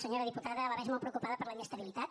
senyora diputada la veig molt preocupada per la inestabilitat